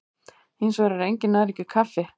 Hins vegar er engin næring í kaffi.